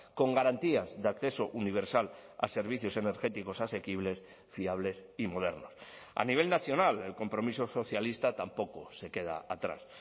con garantías de acceso universal a servicios energéticos asequibles fiables y modernos a nivel nacional el compromiso socialista tampoco se queda atrás